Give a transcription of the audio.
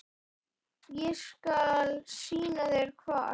Ég skal sýna þér hvar.